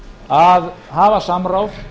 að hafa samráð